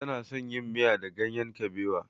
Tana son yin miya da ganyen kabewa.